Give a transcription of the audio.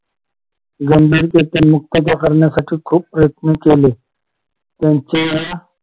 खूप प्रयत्न केले त्यांच्या या